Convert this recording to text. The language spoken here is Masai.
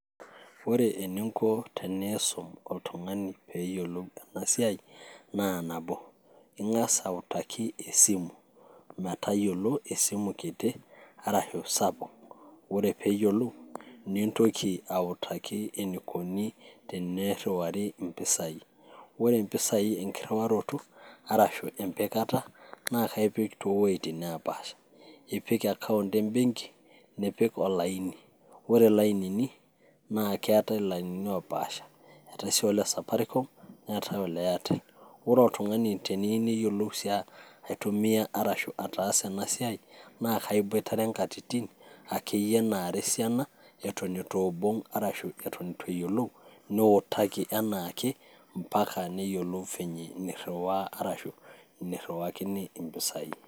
Ore eningo teniisum oltung'ani peyiolou ena siai naa nabo, ing'as autaki esimu metayiolo esimu kiti arashu sapuk. Ore peeyiolou nintoki autaki enikoni tenirriwari impisai, ore impisai enkirriwaroto arashu empikata naa kaipik towuejitin nepaasha ipik account embenki nipik olaini. Ore ilainini naa keetae ilainini opaasha, eetae sii ole Safaricom neetae ole Airtel. Ore oltung'ani teneyieu neyiolou sii aitumia arashu ataasa ena siai naa kaibotare inkatitin akeyie naara esiana eton itu ibung' arashu eton eitu eyiolou niutaki enaake mpaka neyiolou vyenye enirriwaa arashu enirriwakini impisai.